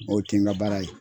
O tɛ n ka baara ye.